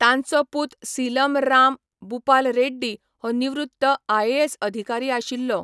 तांचो पूत सीलम राम बूपाल रेड्डी हो निवृत्त आयएएस अधिकारी आशिल्लो.